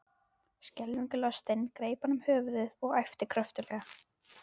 Skelfingu lostinn greip hann um höfuðið og æpti kröftuglega.